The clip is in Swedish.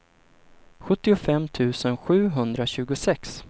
sjuttiofem tusen sjuhundratjugosex